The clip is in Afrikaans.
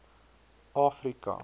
afrika